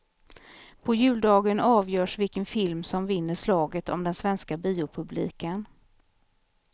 På juldagen avgörs vilken film som vinner slaget om den svenska biopubliken.